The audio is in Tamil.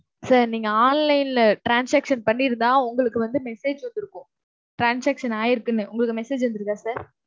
sir நீங்க online ல transaction பண்ணியிருந்தா உங்களுக்கு வந்து message வந்துருக்கும் transaction ஆயிருக்குன்னு. உங்களுக்கு message வந்துருக்குதா sir?